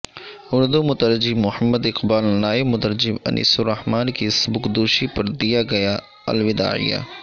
اردو مترجم محمد اقبال نائب مترجم انیس الرحمن کی سبکدو شی پر دیا گیا الوداعیہ